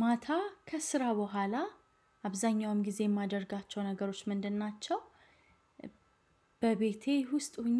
ማታ ከስራ በኋላ አብዛኛውን ጊዜ የማደርጋቸው ነገሮች ምንድን ናቸው በቤቴ ውስጥ ሆኜ